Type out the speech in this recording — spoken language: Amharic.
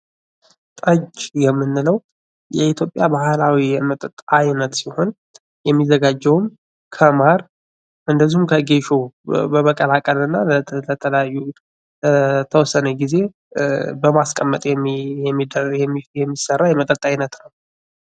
ጠጅ የምንለው የኢትዮጵያ ባህላዊ የመጠጥ አይነት ሲሆን የሚዘጋጀውም ከማር እንደዚሁም ከጌሾ በመቀላቀል እና ከተለያዩ የተወሰነ ጊዜ በማስቀመጠ የሚሰራ የመጠጥ አይነት ነው።